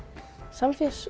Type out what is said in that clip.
Samfés